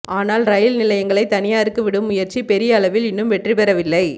ஆனால் ரயில் நிலையங்களை தனியாருக்கு விடும் முயற்சி பெரிய அளவில் இன்னும் வெற்றிபெறவில்லை